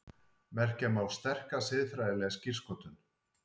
Merkja má sterka siðfræðilega skírskotun.